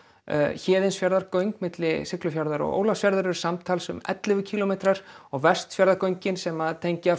Héðinsfjarðargöng milli Siglufjarðar og Ólafsfjarðar eru samtals ellefu kílómetrar og Vestfjarðagöng sem tengja